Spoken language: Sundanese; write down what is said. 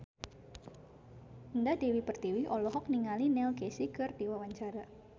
Indah Dewi Pertiwi olohok ningali Neil Casey keur diwawancara